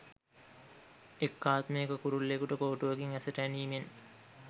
එක් ආත්මයක කුරුල්ලෙකුට කෝටුවකින් ඇසට ඇනීමෙන්